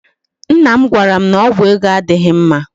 Nna m gwara m na ọgwụ ego adịghị mma